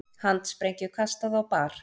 Handsprengju kastað á bar